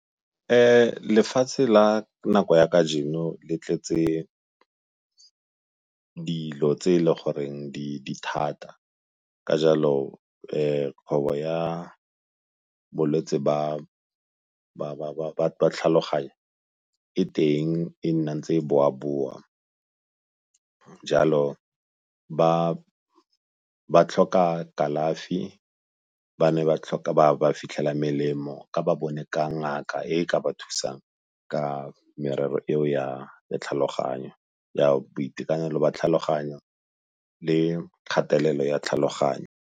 Lefatshe la nako ya kajeno le tletse dilo tse e le goreng di thata ka jalo kgwebo ya bolwetsi ba tlhaloganyo e teng e nna ntse e boa-boa. Jalo ba tlhoka kalafi, ba ne ba tlhoka ba fitlhela melemo ka ba bone ka ngaka e e ka ba thusang ka merero eo ya tlhaloganyo, ya boitekanelo jwa tlhaloganyo le kgatelelo ya tlhaloganyo.